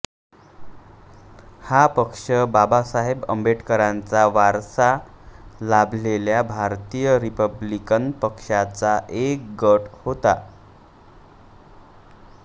हा पक्ष बाबासाहेब आंबेडकरांचा वारसा लाभलेल्या भारतीय रिपब्लिकन पक्षाचा एक गट होता